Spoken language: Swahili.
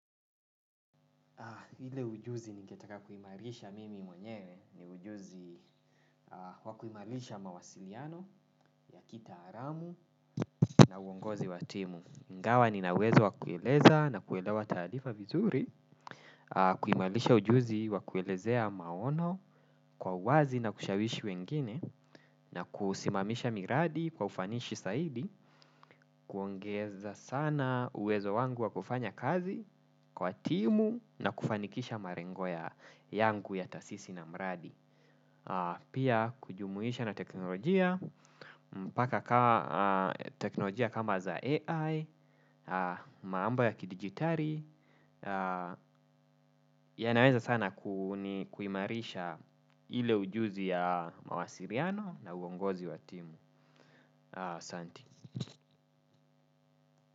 Ile ujuzi ningetaka kuimarisha mimi mwenyewe ni ujuzi wa kuimarisha mawasiliano ya kitaalamu na uongozi wa timu. Ingawa nina uwezo wa kueleza na kuelewa taarifa vizuri, kuimarisha ujuzi wa kuelezea maono kwa uwazi na kushawishi wengine na kusimamisha miradi kwa ufanisi zaidi, kuongeza sana uwezo wangu wa kufanya kazi kwa timu na kufanikisha malengo ya yangu ya tasisi na mradi. Pia kujumuisha na teknolojia, mpaka ka teknolojia kama za AI, mambo ya kidigitari. Yanaweza sana kuimarisha ile ujuzi ya mawasiliano na uongozi wa timu.